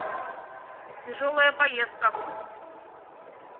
тяжелая поездка